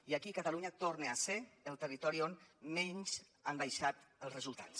i catalunya torna a ser el territori on menys han baixat els resultats